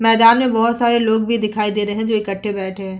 मैदान में बहोत सारे लोग भी दिखाई दे रहे हैं जो इकट्ठे बैठे हैं।